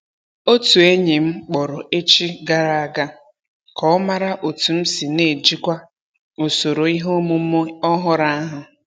Otu enyi m kpọrọ echi gara a ga ka ọ mara otu m si n'ejikwa usoro ihe omume ọhụrụ ahụ.